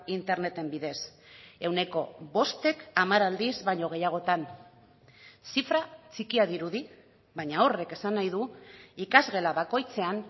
interneten bidez ehuneko bostek hamar aldiz baino gehiagotan zifra txikia dirudi baina horrek esan nahi du ikasgela bakoitzean